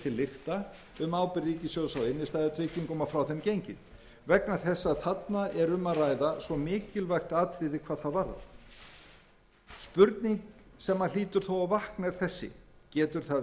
til lykta um ábyrgð ríkissjóðs á innstæðutryggingum og frá þeim gengið vegna þess að þarna er um að ræða svo mikilvægt atriði hvað það varðar spurning sem hlýtur þó að vakna er þessi getur það verið